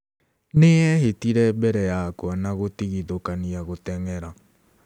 Nĩ eehĩtire mbere yakwa na gũtigithũkania gũteng'era".